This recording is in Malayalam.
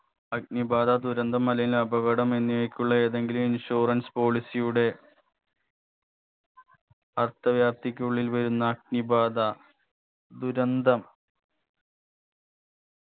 അഗ്നി ബാധാ ദുരന്തം മലിന അപകടം എന്നിവയ്ക്കുള്ള ഏതെങ്കിലും insurance policy യുടെ അർത്ഥവ്യാപ്തിക്കുള്ളിൽ വരുന്ന അഗ്നിബാധ ദുരന്തം